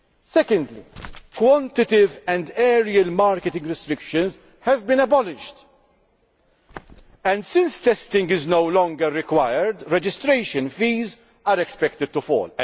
Secondly, quantitative and areal marketing restrictions have been abolished and, since testing is no longer required, registration fees are expected to fall.